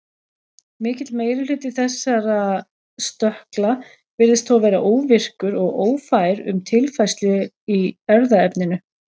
Mikill meiri hluti þessara stökkla virðist þó vera óvirkur og ófær um tilfærslu í erfðaefninu.